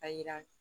A yira